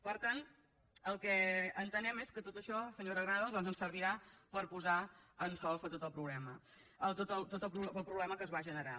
per tant el que entenem és que tot això senyora granados doncs ens servirà per posar en solfa tot el problema que es va generar